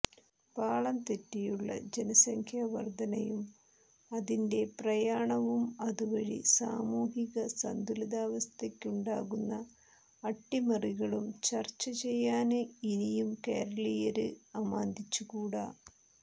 പാളം തെറ്റിയുള്ള ജനസംഖ്യാവര്ദ്ധനയും അതിന്റെ പ്രയാണവും അതുവഴി സാമൂഹിക സന്തുലിതാവസ്ഥയ്ക്കുണ്ടാകുന്ന അട്ടിമറികളും ചര്ച്ചചെയ്യാന് ഇനിയും കേരളീയര് അമാന്തിച്ചുകൂടാ